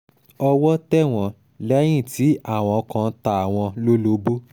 owó tẹ̀ wọ́n lẹ́yìn tí àwọn kan ta àwọn lólobó